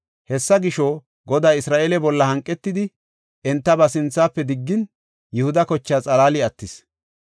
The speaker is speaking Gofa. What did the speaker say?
Hessa gisho, Goday Isra7eele bolla hanqetidi enta ba sinthafe diggin, Yihuda kochaa xalaali attis.